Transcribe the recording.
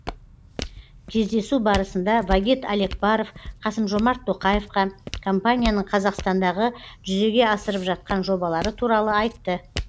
кездесу барысында вагит алекперов қасым жомарт тоқаевқа компанияның қазақстандағы жүзеге асырып жатқан жобалары туралы айтты